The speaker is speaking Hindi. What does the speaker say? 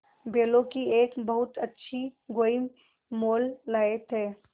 बैलों की एक बहुत अच्छी गोई मोल लाये थे